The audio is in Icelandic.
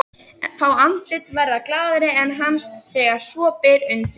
Fá andlit verða glaðari en hans þegar svo ber undir.